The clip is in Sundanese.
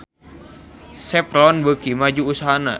Chevron beuki maju usahana